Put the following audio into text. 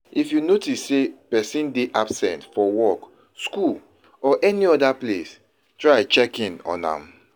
if you notice say persin de absent for work school or any other place try check in on am